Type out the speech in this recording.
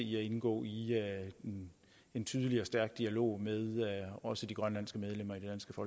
i at indgå i en tydelig og stærk dialog med også de grønlandske medlemmer